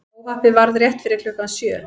Óhappið varð rétt fyrir klukkan sjö